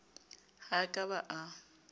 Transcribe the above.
ha a ka a ba